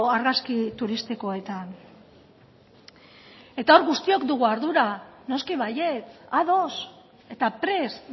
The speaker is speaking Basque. argazki turistikoetan eta hor guztiok dugu ardura noski baietz ados eta prest